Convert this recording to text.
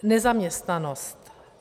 Nezaměstnanost.